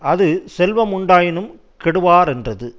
அது செல்வமுண்டாயினும் கெடுவரென்றது